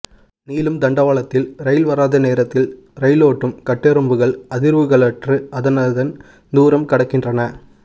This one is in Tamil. நீளும் தண்டவாளத்தில் ரயில் வராத நேரத்தில் ரயிலோட்டும் கட்டெறும்புகள் அதிர்வுகளற்று அதனதன் தூரம் கடக்கின்றன